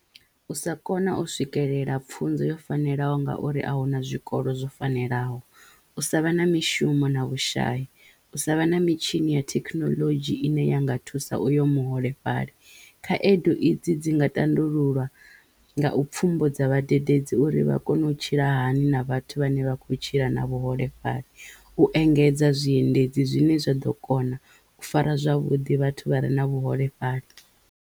U sa kona u swikelela pfunzo yo fanelaho ngauri ahuna zwikolo zwo fanelaho, u sa vha na mishumo na vhushayi, u sa vha na mitshini ya thekinoḽodzhi ine ya nga thusa uyo muholefhali khaedu i dzi dzi nga tandululwa nga u pfhumbudza vhadededzi uri vha kono u tshila hani na vhathu vhane vha kho tshila na vhuholefhali, u engedza zwiendedzi zwine zwa ḓo kona u fara zwavhuḓi vhathu vha re na vhuholefhali.